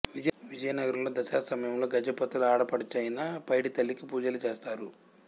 విజయనగరంలో దసరా సమయంలో గజపతుల ఆడపడుచైన పైడి తల్లికి పూజలు చేస్తారు